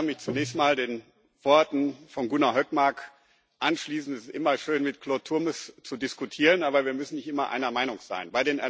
Ich kann mich zunächst mal den Worten von Gunnar Hökmark anschließen Es ist immer schön, mit Claude Turmes zu diskutieren, aber wir müssen nicht immer einer Meinung sein.